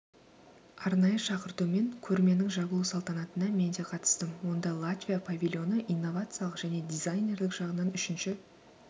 арнайы шақыртумен көрменің жабылу салтанатына мен де қатыстым онда латвия павильоны инновациялық және дизайнерлік жағынан үшінші